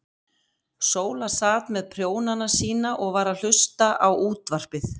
Sóla sat með prjónana sína og var að hlusta á útvarpið.